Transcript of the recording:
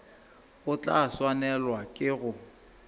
o tla swanelwa ke go